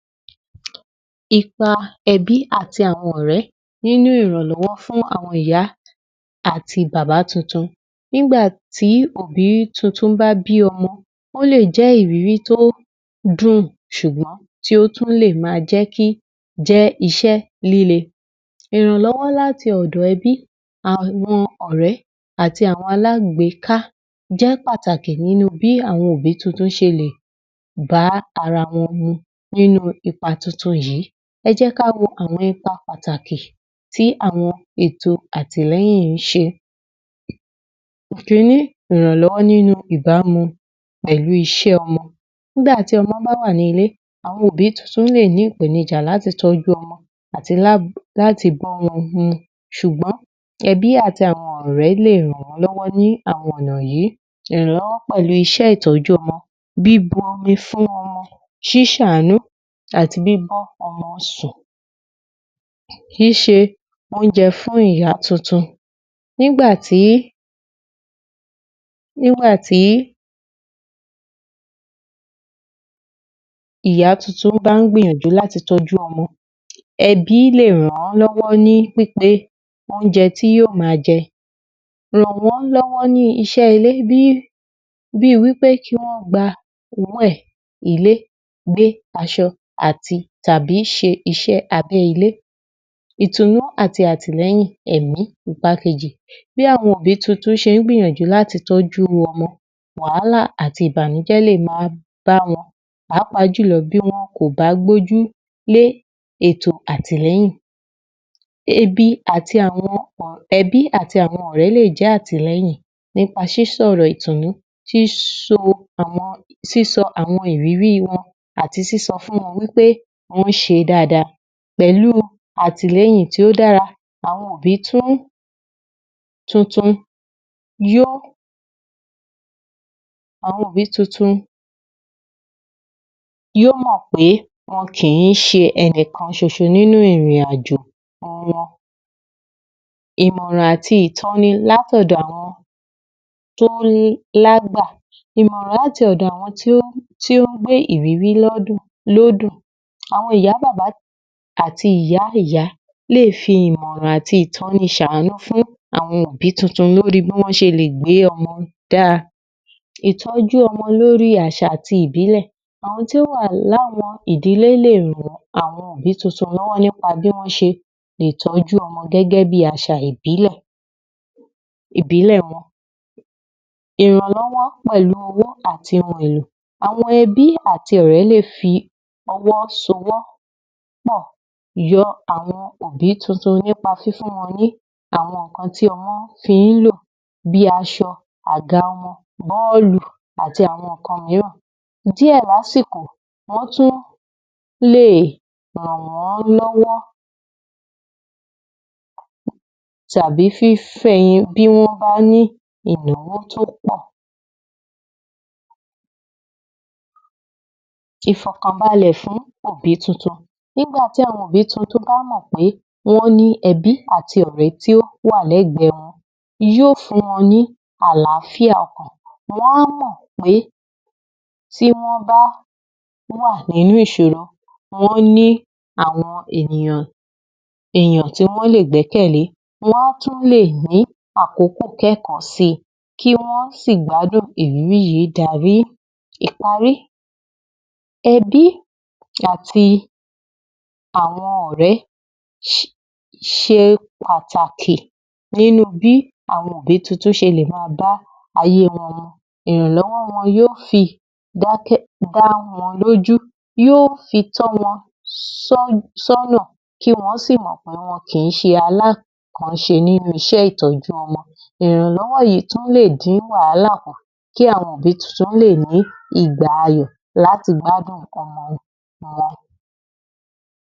00628 Ipa e̩bí àti àwo̩n ò̩ré̩ nínú ìrànló̩wó̩ fún àwo̩n ìyá àti bàbá tuntun. Nígbà tí òbí tuntun bá bí o̩mo̩, ó lè jé̩ ìrírí tí ó dùn s̩ùgbó̩n tí ó tun lè máa jé̩ kí, jé̩ is̩é̩ líle. Ìrànló̩wó̩ láti ò̩dò̩ ẹbí, àwo̩n ò̩ré̩ àti àwo̩n alágbèéká, jé̩ pàtàkì nínu bí àwo̩n obi tuntun s̩e lè bá ara wo̩n mu ninu ipa tuntun yìí. E̩ jé̩ ká wo àwo̩n ipa pàtàkì tí àwo̩n èto àtìlé̩yìn ń s̩e. Ìkíni - ìrànló̩wó̩ nínu ìdánu pè̩lú is̩é̩ o̩mo̩. Nígbà tí o̩mo̩ bá wà nílé, àwo̩n òbí tún lè ní ìpènijà láti tó̩jú o̩mo̩ àti bá o̩mo̩ s̩ùgbó̩n, ẹ̀bí àti àwọn ọ̀rẹ́ lè ràn wọ́n lọ́wọ́ ní àwọn ọ̀nà yìí, ìrànlọ́wọ́ pẹ̀lú iṣẹ́ ìtọ́jú ọmọ, bíbu omi fún ọmọ, ṣíṣàánú àti bíbá ọmọ sùn, ṣíṣe oúnjẹ fún ìyá tuntun nígbà tí nígbà tí ìyá tuntun bá ń gbìyànjú láti tọ́jú ọmọ, ẹbí lè ràn-án ló̩wó̩ ní pipe oúnjẹ tí yóò máa jẹ. Ràn wó̩n lọ́wọ́ ní iṣẹ́ ilé bí wí pé kí wọ́n gba owó ẹ̀, ilé, gbé aṣọ àti tàbí ṣe iṣẹ́ abẹ́ ilé, èto náà àti àtìlẹ́yìn ẹ̀mí. Ipa kejì – Bí àwọn òbí tún ṣe ń gbìyànjú láti tọ́jú o̩mọ, wàhálà àti ìbànújẹ́ lè máa bá wọn, pàápàá jùlọ bí wọn kò bá gbójú lé ètò àtìlẹ́yìn, ebi àti àwọn e̩bí àti àwọn ọ̀rẹ́ lè jẹ́ àtìlẹ́yìn, nípa sísọ̀rọ̀ ìtùnú, síso àwọn sísọ àwọn ìrírí wọn àti sísọ fún wọn pé wọ́n ṣe dáadáa. Pẹ̀lú àtìlẹ́yìn tí ó dára, àwọn òbí tí ó tuntun àwọn òbí tuntun yóò mọ̀ pé wọn kì í ṣe ẹnìkan ṣoṣo nínú ìrìnàjò wọn. Ìmọ̀ràn àti ìtọ́ni látọ̀dọ̀ àwọn tí ó lágbà, ìmọ̀ràn láti ọ̀dọ̀ àwọn tí ó tí ó ń gbé ìrírí lédùn lódù. Àwọn ìyá bàbá àti ìyá ìyá lè fi ìmọ̀ràn àti ìtọ́ni ṣàánú fún àwọn òbí tuntun lóri bí wọ́n ṣe lè gbé ọmọ dára. Ìtọ́jú ọmọ lóri àṣà àti ìbílẹ̀ - àwọn tí ó wà láwọn ìdílé lè ran àwọn ìdílé tuntun lọ́wọ́ nípa bí wọn ṣe ìtójú ọmọ gẹ́gẹ́ bi àṣà ìbílẹ̀ ìbílẹ̀ wọn. Ìrànlọ́wọ́ pẹ̀lú owó àti ohun èlò, àwọn ẹbí àti ọ̀rẹ́ lè fi ọwọ́ sowó̩ pọ̀ yọ àwọn òbí tuntun nípa fífún wọn ní àwọn nǹkan tí ọmọ ti ń lò bí aṣọ, àga ọmọ, bọ́ọ̀lù àti àwọn nǹkan ohun náà. Díẹ̀ lásìkò wọ́n tún lè ràn wọ́n lọ́wọ́ tàbí fífẹ bí wọ́n bá ní ìrànlọ́wọ́ tó pọ̀. Ìfọ̀kànbalẹ̀ fún òbí tuntun – Nígbà tí àwọn òbí tuntun bá mọ̀ pé wọ́n ní ẹ̀bí àti ọ̀rẹ́ tí wọ́n wà lẹ́gbẹ̀ẹ́ wọn yóó fún wọn ní àlààfíà ọkàn. Wọ́n mọ̀ pé tí wọ́n bá wà nínú ìṣòro, wọ́n ní àwọn ènìyàn èyàn tí wọ́n lè gbẹ́kẹ̀lé, wọ́n tún lè ní àkókò kẹ́kọ̀ọ́ si kí wọ́n sì gbádùn ìrírí yìí darí. Ìparí – ẹbí àti àwọn ọ̀rẹ́ ṣe pàtàkì nínú bí àwọn òbí tuntun ṣe lè ma bá ayé wọn lọ, ìrànlọ́wọ́ wọn yóó fi dáke̩- dá wọn lójú yóó fi tọ́ wọn só̩̣-só̩̣nà kí wọn sì mọ̀ pé wọn kì í ṣe alákànṣe nínú iṣẹ́ ìtọ́jú ọmọ. Ìrànlọ́wọ́ yìí tún lè dín wàhálà kù kí àwọn òbí tuntun lè ní ìgbà ayọ̀ láti gbádùn ọmọ wọn.